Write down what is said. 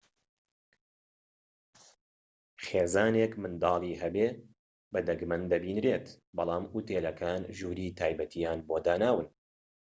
خێزانێك منداڵی هەبێت بە دەگمەن دەبینرێت بەڵام ئوتێلەکان ژووری تایبەتییان بۆ داناون